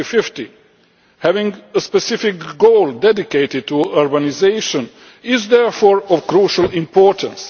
2050. Having a specific goal dedicated to urbanisation is therefore of crucial importance.